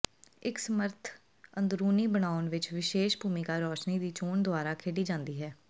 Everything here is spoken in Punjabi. ਇਕ ਸਮਰੱਥ ਅੰਦਰੂਨੀ ਬਣਾਉਣ ਵਿਚ ਵਿਸ਼ੇਸ਼ ਭੂਮਿਕਾ ਰੋਸ਼ਨੀ ਦੀ ਚੋਣ ਦੁਆਰਾ ਖੇਡੀ ਜਾਂਦੀ ਹੈ